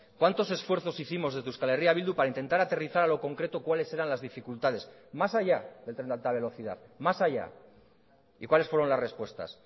cuántos esfuerzos hicimos desde euskal herria bildu para intentar aterrizar a lo concreto cuáles eran las dificultades más allá del tren de alta velocidad más allá y cuáles fueron las respuestas